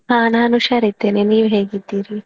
ಹಾ ನಾನು ಹುಷಾರಿದ್ದೇನೆ ನೀವ್ ಹೇಗಿದ್ದೀರಿ?